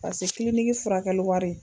Pase kiliniki furakɛli wari.